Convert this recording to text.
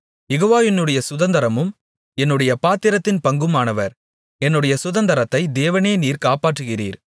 யெகோவா என்னுடைய சுதந்தரமும் என்னுடைய பாத்திரத்தின் பங்குமானவர் என்னுடைய சுதந்தரத்தை தேவனே நீர் காப்பாற்றுகிறீர்